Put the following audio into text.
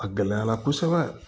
A gɛlɛyara kosɛbɛ